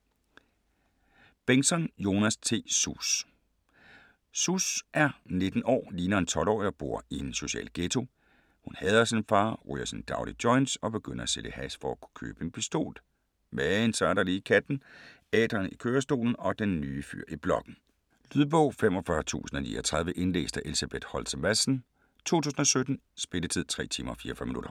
Bengtsson, Jonas T.: Sus Sus er 19 år, ligner en 12-årig og bor i en social ghetto. Hun hader sin far, ryger sine daglige joints og begynder at sælge hash for at kunne købe en pistol. Men så er der lige katten, Adrian i kørestolen og den nye fyr i blokken. Lydbog 45039 Indlæst af Elsebeth Holtze Madsen, 2017. Spilletid: 3 timer, 44 minutter.